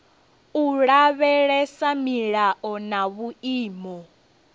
u lavhelesa milayo na vhuimo